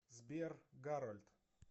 сбер гарольд